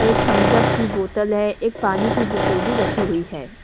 एक थंब्सअप की बोतल है एक पानी की बोतल भी रखी हुई है।